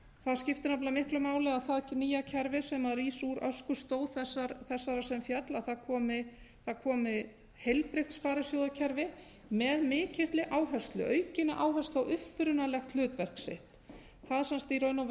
það skiptir nefnilega miklu máli að það nýja kerfi sem rís úr öskustó þessarar sem féll það komi heilbrigt sparisjóðakerfi með mikilli áherslu aukinni áherslu á upprunalegt hlutverk sitt það sem sagt í raun og